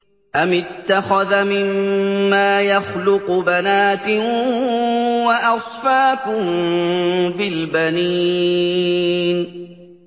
أَمِ اتَّخَذَ مِمَّا يَخْلُقُ بَنَاتٍ وَأَصْفَاكُم بِالْبَنِينَ